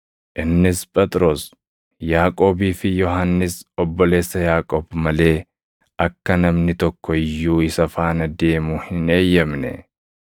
Innis Phexros, Yaaqoobii fi Yohannis obboleessa Yaaqoob malee akka namni tokko iyyuu isa faana deemu hin eeyyamne.